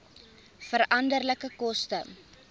veranderlike koste